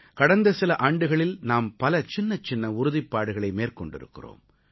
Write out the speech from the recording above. கடந்த சில ஆண்டுகளில் நாம் பல சின்னச்சின்ன உறுதிப்பாடுகளை மேற்கொண்டிருக்கிறோம்